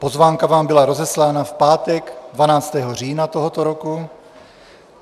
Pozvánka vám byla rozeslána v pátek 12. října tohoto roku.